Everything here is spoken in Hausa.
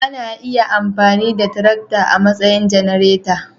Ana iya amfani da tarakta a matsayin janareta